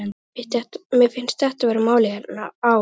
Mér finnst þetta vera málið hérna á